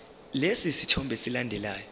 lesi sithombe esilandelayo